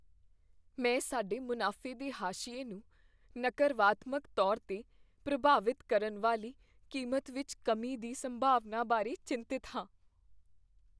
ਮੈਂ ਸਾਡੇ ਮੁਨਾਫੇ ਦੇ ਹਾਸ਼ੀਏ ਨੂੰ ਨਕਰਵਾਤਮਕ ਤੌਰ 'ਤੇ ਪ੍ਰਭਾਵਿਤ ਕਰਨ ਵਾਲੀ ਕੀਮਤ ਵਿੱਚ ਕਮੀ ਦੀ ਸੰਭਾਵਨਾ ਬਾਰੇ ਚਿੰਤਤ ਹਾਂ।